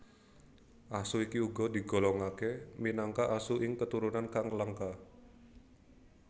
Asu iki uga digolongake minangka asu ing keturunan kang langka